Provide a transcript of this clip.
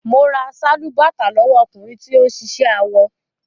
Mo ra sálúbàtà lówọ́ ọkùnrin tí ó ń ṣiṣẹ́ awọ.